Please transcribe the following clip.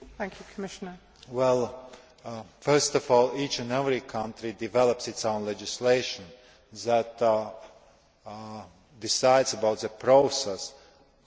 First of all, each and every country develops its own legislation that decides on the process of how the application should be made.